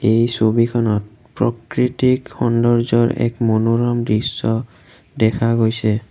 এই ছবিখনত প্ৰকৃতিক সৌন্দৰ্য্যৰ এক মনোৰম দৃশ্য দেখা গৈছে।